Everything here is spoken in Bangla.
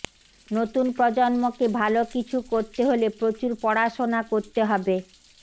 নতুন প্রজন্মকে ভালো কিছু করতে হলে প্রচুর পড়াশোনা করতে হবে